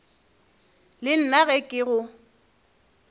le nna ge ke go